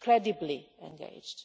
credibly engaged.